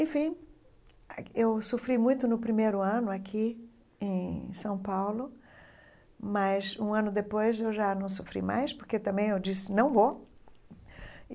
Enfim, a eu sofri muito no primeiro ano aqui em São Paulo, mas um ano depois eu já não sofri mais porque também eu disse não vou.